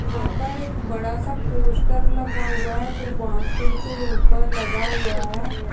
यहाँ पर एक बड़ा-सा पोस्टर लगा हुआ है जो बांसे के ऊपर लगा हुआ है।